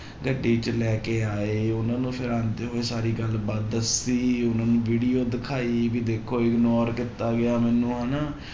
ਗੱਡੀ 'ਚ ਲੈ ਕੇ ਆਏ ਉਹਨਾਂ ਨੂੰ ਫਿਰ ਆਉਂਦੇ ਹੋਏ ਸਾਰੀ ਗੱਲ ਬਾਤ ਦੱਸੀ ਉਹਨਾਂ ਨੂੰ video ਦਿਖਾਈ ਵੀ ਦੇਖੋ ignore ਕੀਤਾ ਗਿਆ ਮੈਨੂੰ ਹਨਾ